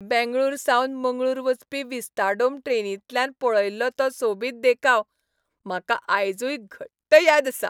बेंगळुरूसावन मंगळूर वचपी विस्ताडोम ट्रेनींतल्यान पळयल्लो तो सोबीत देखाव म्हाका आयजूय घट्ट याद आसा.